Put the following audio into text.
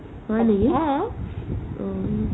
হয় নেকি ? অ'